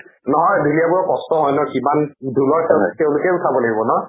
নহয় ঢুলীয়াবোৰৰ কষ্টও হয় ন কিমান। ঢোলৰ চেউ তেওঁলোকেও চাব লাগিব ন?